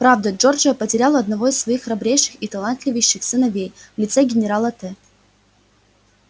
правда джорджия потеряла одного из своих храбрейших и талантливейших сыновей в лице генерала т